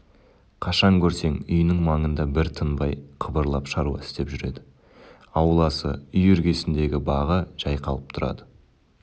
қашан көрсең үйінің маңында бір тынбай қыбырлап шаруа істеп жүреді ауласы үй іргесіндегі бағы жайқалып тұрады